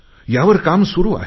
यावर काम सुरु आहे